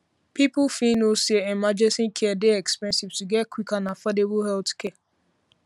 people fit people fit know say emergency care dey expensive to get quick and affordable healthcare